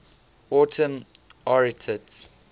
autumn arietids